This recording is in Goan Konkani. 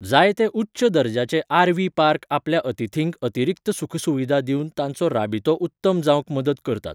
जायते उच्च दर्जाचे आर.व्ही. पार्क आपल्या अतिथींक अतिरिक्त सुखसुविधा दिवन तांचो राबितो उत्तम जावंक मदत करतात.